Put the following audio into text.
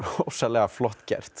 ofsalega flott gert